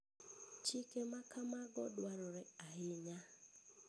Chike ma kamago dwarore ahinya.